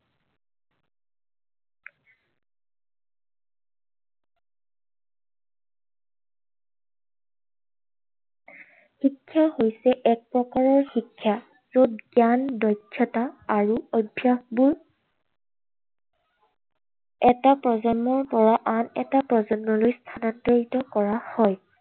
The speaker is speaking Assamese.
শিক্ষা হৈছে এক প্ৰকাৰৰ শিক্ষা য'ত, জ্ঞান, দক্ষতা আৰু অভ্যাসবোৰ এটা প্ৰজন্মৰ পৰা আন এটা প্ৰজন্মলৈ স্থানান্তৰিত কৰা হয়।